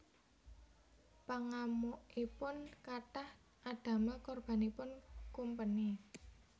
Pangamukipun kathah adamel korbanipun kumpeni